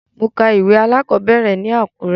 Mo ka ìwé alákọ̀ọ́bẹ̀rẹ̀ ní Àkúrẹ́.